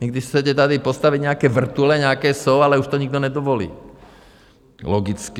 Vy když chcete tady postavit nějaké vrtule, nějaké jsou, ale už to nikdo nedovolí - logicky.